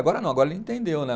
Agora não, agora ele entendeu, né?